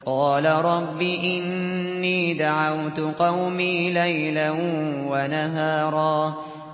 قَالَ رَبِّ إِنِّي دَعَوْتُ قَوْمِي لَيْلًا وَنَهَارًا